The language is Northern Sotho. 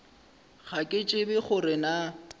ga ke tsebe gore na